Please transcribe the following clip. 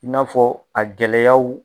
I n'a fɔ a gɛlɛyaw